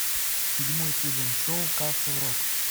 седьмой сезон шоу касл рок